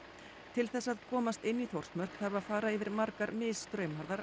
til þess að komast inn í Þórsmörk þarf að fara yfir margar